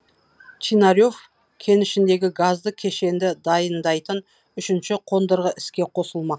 чинарев кенішіндегі газды кешенді дайындайтын үшінші қондырғы іске қосылмақ